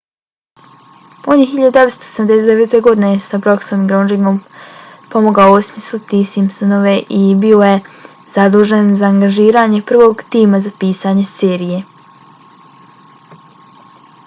on je 1989. godine s brooksom i groeningom pomogao osmisliti simpsonove i bio je zadužen za angažiranje prvog tima za pisanje serije